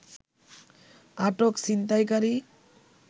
আটক ছিনতাইকারী